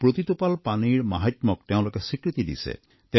প্ৰতিটোপাল পানীৰ মাহাত্মক তেওঁলোকে স্বীকৃতি দিছে